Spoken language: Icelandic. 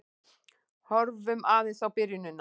Horfum aðeins á byrjunina.